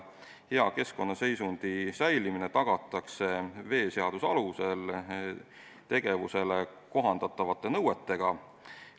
Hea keskkonnaseisundi säilimine tagatakse veeseaduse alusel tegevusele kohaldatavate nõuetega.